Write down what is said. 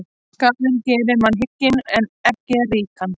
Skaðinn gerir mann hygginn en ekki ríkan.